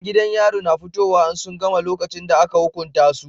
Yan gidan yari na fitowa in sun gama lokacin da aka hukunta su